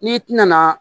N'i tɛna